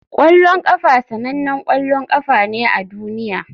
Kwallon kafa sanannen ƙwallon ƙafa ne a duniya.